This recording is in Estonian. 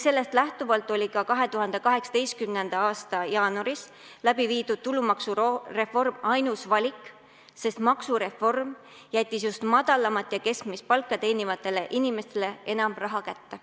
Sellest lähtuvalt oli ka 2018. aasta jaanuaris läbiviidud tulumaksureform ainus valik, sest maksureform jättis just madalamat ja keskmist palka teenivatele inimestele enam raha kätte.